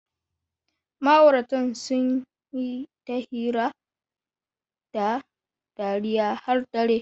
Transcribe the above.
Ma'auratan sun yi ta hira da dariya har dare.